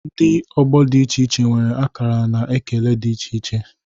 Ndị ọgbọ dị iche iche nwere akara na ekele dị iche iche